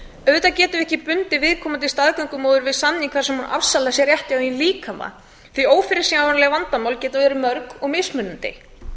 auðvitað getum við ekki bundið viðkomandi staðgöngumóður við samning þar sem hún afsalar sér rétti á eigin líkama því ófyrirsjáanleg vandamál geta verið mörg og mismunandi